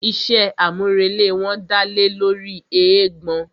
Iṣé àmúrelé wọn dálé lóri eégbọn.